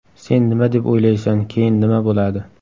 Sen nima deb o‘ylaysan, keyin nima bo‘ladi?”.